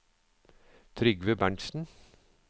Trygve Berntsen